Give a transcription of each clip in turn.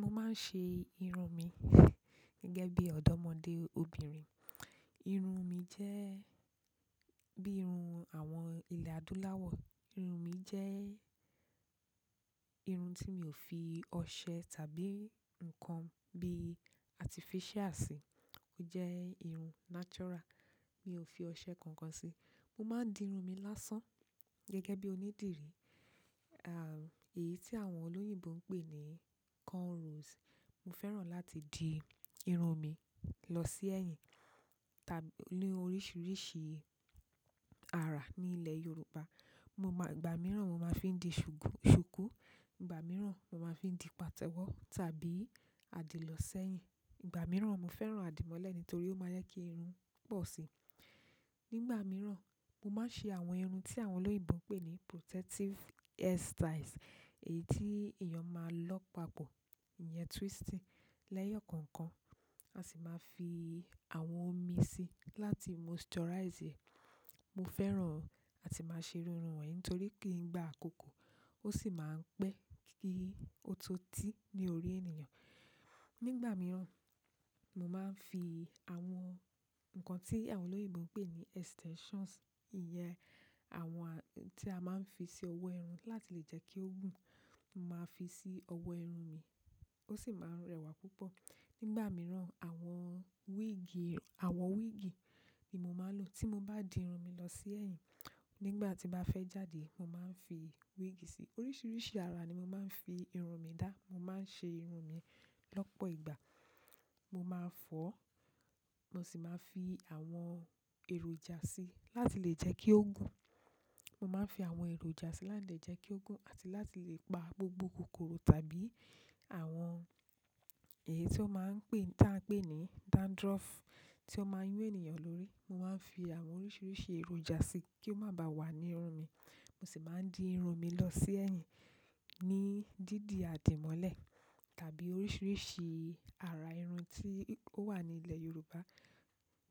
Mo máa ń ṣe irun mi gẹ́gẹ́ bí ọ̀dọ́mọdé obìnrin. Irun mi jẹ́ bí irun àwọn ilẹ̀ adúláwọ̀. Irun mi jẹ́ irun tí mi ò fi ọṣẹ tàbí nǹkan bí artificial sí. Ó jẹ́ irun natural, mi ò fi ọṣẹ kankan sí. Mo ma n di irun mi lásán gẹ́gẹ́ bi onídìrí à, èyí tí àwọn olóyìnbo ń pè ní cornrows. Mo fẹ́ràn láti di irun mi lọ sí ẹ̀yìn tá-- ní oríṣiríṣi ara ní ilẹ̀ Yorùbá. Mo máa-- ìgbà mìíràn mo máa ń fi dí ṣùkú, ìgbà mìíràn mo máa ń fi dí pàtẹ́wọ́ tàbí àdì lọ sí ẹ̀yìn. Ìgbà mìíràn mo fẹ́ràn àdìmọ́lẹ̀ nítorí ó máa ń jẹ́ kí irun pọ̀ sí i. Nígbà mìíràn, mo máa ń ṣe àwọn irun tí àwọn olóyìnbo ń pè ní protective hairstyles. Èyí tí èèyàn máa lọ papọ̀, ìyẹn twisting. Leyokookan a si ma fi àwọn omi si láti moisturise e. Mo fẹ́ràn àti máa ṣe iru irun wọ̀nyí nítorí kí í gba àkókò o si maa n pe ki o to ti ni orí ènìyàn. Nígbà mìíràn, mo máa ń fi àwọn nǹkan tí àwọn olóyìnbo ń pè ní extensions. Iyen àwọn ti a ma n fi si owo irun láti le je ki o gun. Mo máa fi sí ọwọ́ irun mi, ó sì máa ń rẹwà púpọ̀. Nígbà mìíràn, àwọn wíìgì, àwọ̀ wíìgì ni mo máa ń lò tí mo bá di irun mi lọ sí ẹ̀yìn. Nígbà tí mo bá fẹ́ jáde, mo máa ń fi wíìgì sí i. Oríṣiríṣi ara ni mo máa ń fi irun mi dá. Mo máa ń ṣe irun mi lọ́pọ̀ ìgbà. Mo máa ń fọ́, mo sì máa ń fi àwọn èròjà sí í láti lè jẹ́ kí ó gùn. Mo máa ń fi àwọn èròjà sí í láti lè jẹ́ kí ó gùn àti láti lè pa gbogbo kòkòrò tàbí àwọn èyí tí wọ́n máa ń pè, tí a ń pè ní dandruff tí ó máa ń yún ènìyàn lórí. Mo ma n fi àwọn oríṣiríṣi èròjà si ki o ba ba wo irun mi mo sì máa ń di irun mi lọ sí ẹ̀yìn ní dídi àdìmọ́lẹ̀ tàbí oríṣiríṣi ara irun tí ó wà ní ilẹ̀ Yorùbá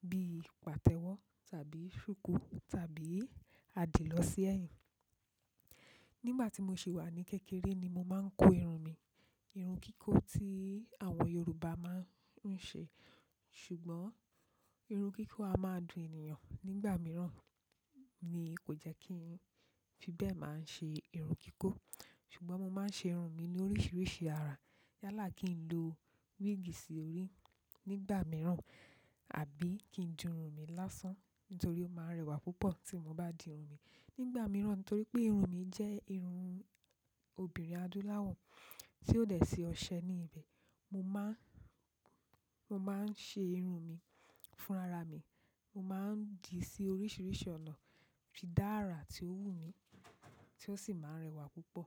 bí pàtẹ́wọ́ tàbí ṣùkú tàbí àdì lọ sí ẹ̀yìn. Nígbà tí mo sì wà ní kékeré ni mo máa ń kó irun mi, irun kíkó tí àwọn Yorùbá máa ń ṣe. Ṣùgbọ́n irun kíkó a máa dùn ènìyàn nígbà mìíràn ni kò jẹ́ kí n fi bẹ́ẹ̀ máa ń ṣe irun kíkó. Ṣùgbọ́n mo máa ń ṣe irun mi ní oríṣiríṣi ara. Yálà kí n lo wíìgì sí orí nígbà mìíràn àbí kí n di irun mi lásán nítorí ó máa ń rẹwà púpọ̀ tí mo bá di irun mi nígbà mìíràn. Nítorí pé irun mi jẹ́ irun obìnrin adúláwọ̀ tí ò dẹ̀ sí ọṣẹ ní ibẹ̀. Mo máa ń, mo máa ń ṣe irun mi fúnra ra mi. Mo máa ń dìí sí oríṣiríṣi ọ̀nà, f i dára tí ó wù mí tí ó sì máa ń rẹwà púpọ̀.